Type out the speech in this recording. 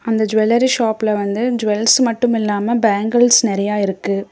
அந்த ஜுவல்லரி ஷாப்பில வந்து ஜுவல்ஸ் மட்டும் இல்லாம பேங்கிள்ஸ் நிறைய இருக்கு.